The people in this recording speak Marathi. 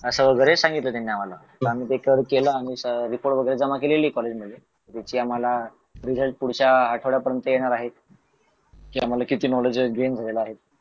असं वगैरे सांगितलं त्यांनी आम्हाला आणि आम्ही केल आम्ही रिपोर्ट वगैरे जमा केलेले कॉलेजमध्ये जो की आम्हाला रिझल्ट पुढच्या आठवड्यापर्यंत येणार आहे की आम्हाला किती नॉलेज गेन झालेल आहे